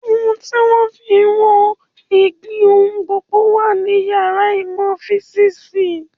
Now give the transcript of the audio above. Ohun tí wọ́n fí ń wọ́n ìgbì ohùn gbọ́dọ̀ wà ní yàrá ìmọ̀ físìsì